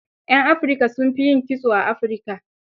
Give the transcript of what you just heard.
Yan Afrika, sun fi yin kitso a Afirika.